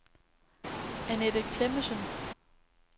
Anette Klemmensen